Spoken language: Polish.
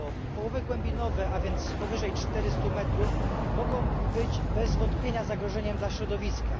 Połowy głębinowe, a więc powyżej 400 m, mogą być bez wątpienia zagrożeniem dla środowiska.